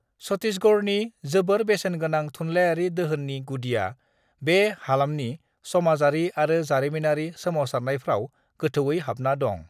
छत्तीसगढ़नि जोबोर बेसेनगोनां थुनलाइयारि दोहोननि गुदिया बे हालामनि समाजारि आरो जारिमिनारि सोमावसारनायफ्राव गोथौयै हाबना दं।